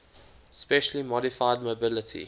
specially modified mobility